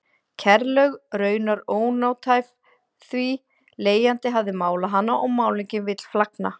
Kerlaug raunar ónothæf því leigjandi hafði málað hana og málningin vill flagna.